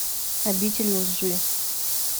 обитель лжи